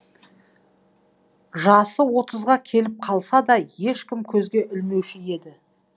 жасы отызға келіп қалса да ешкім көзге ілмеуші еді